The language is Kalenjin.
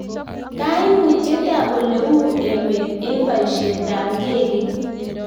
kaimutiet ab ole u emet eng baishet ab ndekeit